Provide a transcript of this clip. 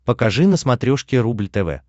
покажи на смотрешке рубль тв